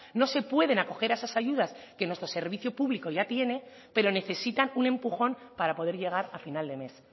no se pueden acoger a esas ayudas que nuestro servicio público ya tiene pero necesitan un empujón para poder llegar a final de mes